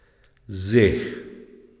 Zeh.